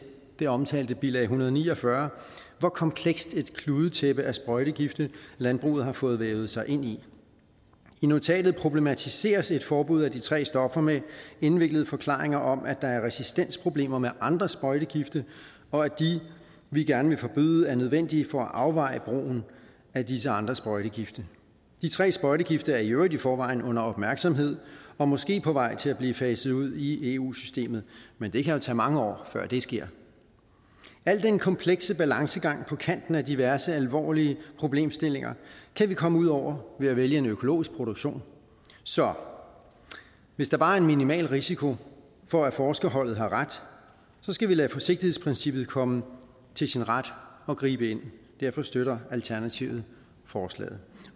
det omtalte bilag en hundrede og ni og fyrre hvor komplekst et kludetæppe af sprøjtegifte landbruget har fået vævet sig ind i i notatet problematiseres et forbud af de tre stoffer med indviklede forklaringer om at der er resistensproblemer med andre sprøjtegifte og at de vi gerne vil forbyde er nødvendige for at afveje brugen af disse andre sprøjtegifte de tre sprøjtegifte er i øvrigt i forvejen under opmærksomhed og måske på vej til at blive faset ud i eu systemet men det kan jo tage mange år før det sker al den komplekse balancegang på kanten af diverse alvorlige problemstillinger kan vi komme ud over ved at vælge en økologisk produktion så hvis der bare er en minimal risiko for at forskerholdet har ret skal vi lade forsigtighedsprincippet komme til sin ret og gribe ind derfor støtter alternativet forslaget